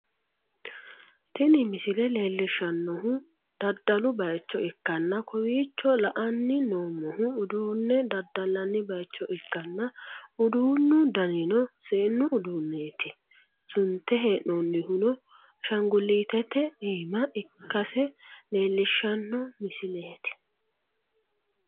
tini misile leellishshannohu daddalu bayicho ikkanna, kowiicho la'anni noommohu, uduunne daddallanni bayicho ikkanna, uduunnu danino seennu uduuneeti, sunte hee'noonnihuno ashaangulitete iima ikkase leellishshanno misileeti.